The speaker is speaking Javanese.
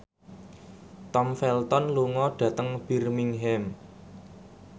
Tom Felton lunga dhateng Birmingham